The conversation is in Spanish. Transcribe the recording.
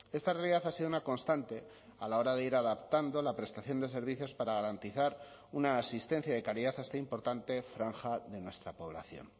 esta realidad ha sido una constante a la hora de ir adaptando la prestación de servicios para garantizar una asistencia de calidad a esta importante franja de nuestra población